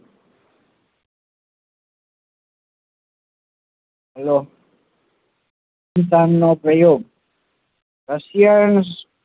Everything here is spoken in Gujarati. hello